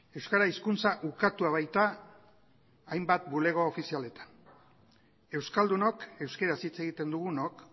euskara hizkuntza ukatua baita hainbat bulego ofizialetan euskaldunok euskaraz hitz egiten dugunok